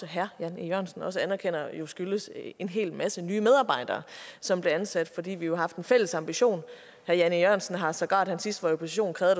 herre jan e jørgensen også anerkender jo skyldtes en hel masse nye medarbejdere som blev ansat fordi vi jo har haft en fælles ambition herre jan e jørgensen har sågar da han sidst var i opposition krævet